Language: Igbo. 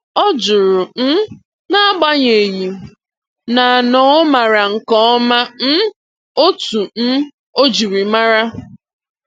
Ọ jụrụ, um n'agbanyeghị, na na ọ maara nke ọma um otú um o jiri maara.